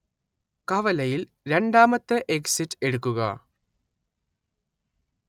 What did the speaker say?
കവലയിൽ രണ്ടാമത്തെ എക്സിറ്റ് എടുക്കുക